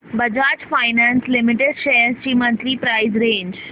Bajaj finance limited shares ची monthly price range